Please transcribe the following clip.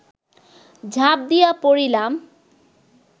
ঝাঁপ দিয়া পড়িলাম